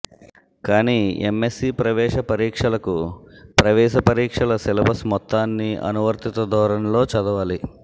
కానీ ఎంఎస్సీ ప్రవేశపరీక్షలకు ప్రవేశపరీక్షల సిలబస్ మొత్తాన్నీ అనువర్తిత ధోరణిలో చదవాలి